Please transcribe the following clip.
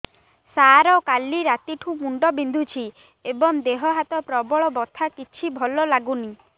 ସାର କାଲି ରାତିଠୁ ମୁଣ୍ଡ ବିନ୍ଧୁଛି ଏବଂ ଦେହ ହାତ ପ୍ରବଳ ବଥା କିଛି ଭଲ ଲାଗୁନି